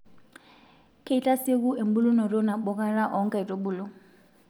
Keitasieku embulunoto nabokata oonkaitubulu.